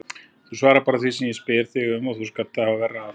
Þú svarar bara því sem ég spyr þig um eða þú skalt hafa verra af.